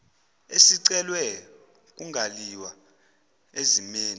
esiceliwe kungaliwa ezimeni